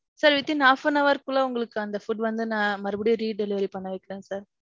sir withing half an hour க்குள்ளே உங்களுக்கு அந்த food வந்து நான் மறுபடியும் redelivery பண்ண வைக்குறேன் sir.